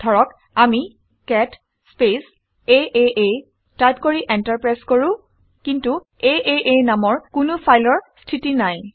ধৰক আমি cat space আঁ টাইপ কৰি এন্টাৰ প্ৰেছ কৰো। কিন্তু আঁ নামৰ কোনো ফাইলৰ স্থিতি নাই